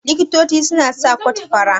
Likito suna saka kot fara.